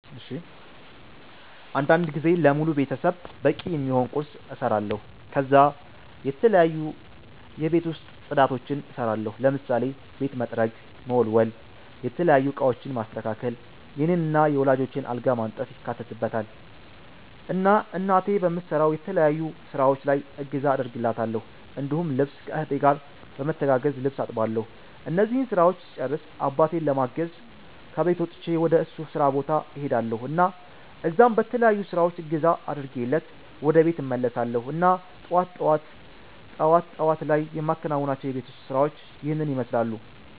አንዳንድ ጊዜ ለሙሉ ቤተሰብ በቂ የሚሆን ቁርስ እሰራለሁ ከዛ የተለያዩ የቤት ውስጥ ፅዳቶችን እሰራለሁ ለምሳሌ ቤት መጥረግ፣ መወልወል፣ የተለያዩ እቃወችን ማስተካከል፣ የኔን እና የወላጆቸን አልጋ ማንጠፍ ይካተትበታል። እና እናቴ በምሰራው የተለያዩ ስራወች ላይ እገዛ አደርግላታለሁ እንዲሁም ልብስ ከ እህቴ ጋር በመተጋገዝ ልብስ አጥባለሁ እነዚህን ስራወች ስጨርስ አባቴን ለማገዝ ከቤት ወጥቸ ወደ እሱ ስራ ቦታ እሄዳልሁ እና እዛም በተለያዩ ስራወች እገዛ አድርጌለት ወደ ቤት እመለሳለሁ እና ጠዋት ጠዋት ላይ የማከናዉናቸው የቤት ውስጥ ስራወች ይህንን ይመስላሉ